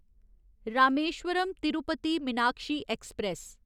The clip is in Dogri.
रामेश्वरम तिरुपति मीनाक्षी ऐक्सप्रैस